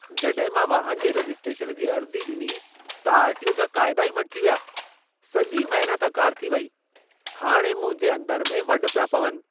जॾहिं मां वाहन जे रजिस्ट्रेशन जी अर्ज़ी ॾिनी, त आर.टी.ओ. जा क़ायदा ई मटिजी विया ! सॼी महिनत अकारिथी वेई ! हाणे मुंहिंजे अंदर में वढ पिया पवनि।